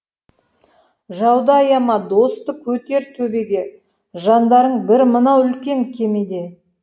жауды аяма досты көтер төбеге жандарың бір мынау үлкен кемеде